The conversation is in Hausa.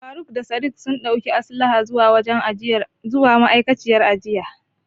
Faruk da Sadik sun ɗauki Aslahan zuwa wajen ma'aikaciyar jinyar.